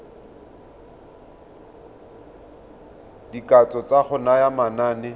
dikatso tsa go naya manane